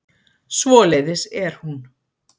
Svoleiðis er hún.